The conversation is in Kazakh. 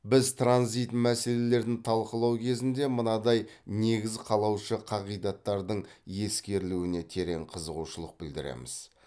біз транзит мәселелерін талқылау кезінде мынадай негіз қалаушы қағидаттардың ескерілуіне терең қызығушылық білдіреміз